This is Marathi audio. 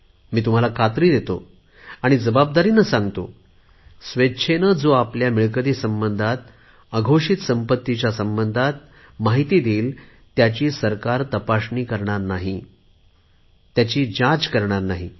मी तुम्हाला खात्री देतो की स्वेच्छेने जो आपल्या मिळकती संबंधात अघोषित संपत्तीच्या संबंधात सरकारला जाणकारी देईल त्यांची सरकार तपासणी करणार नाही चौकशी करणार नाही